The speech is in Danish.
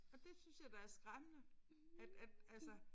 Og det synes jeg da er skræmmende at at altså